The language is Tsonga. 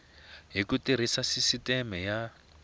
hi ku tirhisa sisiteme ya